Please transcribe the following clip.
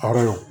Hɔrɔn